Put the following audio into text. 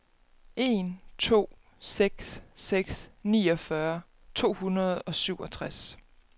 en to seks seks niogfyrre to hundrede og syvogtres